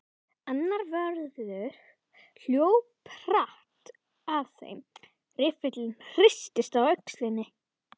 Annar vörður hljóp hratt að þeim, riffillinn hristist á öxlinni.